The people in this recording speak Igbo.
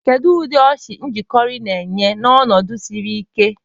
Kedu ụdị ọchị njakịrị na-enye n'ọnọdụ ndi siri ike?